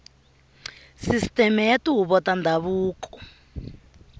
sisiteme ya tihuvo ta ndhavuko